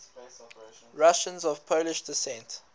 russians of polish descent